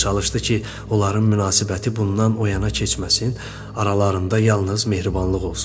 Çalışdı ki, onların münasibəti bundan o yana keçməsin, aralarında yalnız mehribanlıq olsun.